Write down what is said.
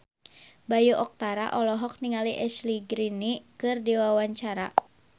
Bayu Octara olohok ningali Ashley Greene keur diwawancara